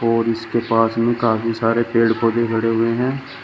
और इसके पास में काफी सारे पेड़ पौधे खड़े हुए है।